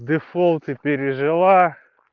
дефолты пережила